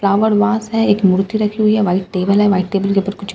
flower vase हैं एक मूर्ति रखी हुई हैं व्हाइट टेबल हैं व्हाइट टेबल के ऊपर कुछ सामान --